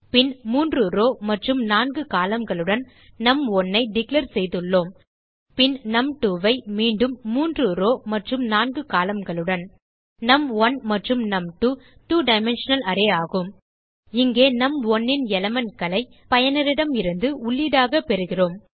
பின் 3 row மற்றும் 4 columnகளுடன் நும்1 ஐ டிக்ளேர் செய்துள்ளோம் பின் நும்2 மீண்டும் 3ரோவ் மற்றும் 4columnகளுடன் நும்1 மற்றும் நும்2 2 டைமென்ஷனல் அரே ஆகும் இங்கே நும்1 ன் elementகளை பயனரிடமிருந்து உள்ளீடாக பெறுகிறோம்